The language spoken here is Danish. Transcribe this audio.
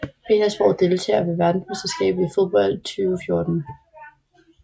Petersborg Deltagere ved verdensmesterskabet i fodbold 2014